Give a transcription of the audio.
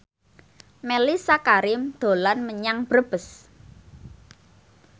Mellisa Karim dolan menyang Brebes